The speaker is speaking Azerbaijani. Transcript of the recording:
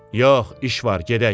Yox, iş var, gedək.